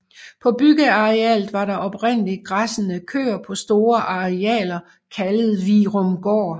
På byggearealet var der oprindeligt græssende køer på store arealer kaldet Virumgård